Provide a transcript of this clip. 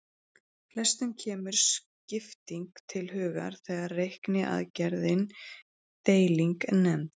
Flestum kemur skipting til hugar þegar reikniaðgerðin deiling er nefnd.